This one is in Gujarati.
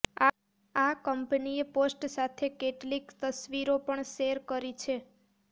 આ કંપનીએ પોસ્ટ સાથે કેટલીક તસવીરો પણ શૅર કરી છે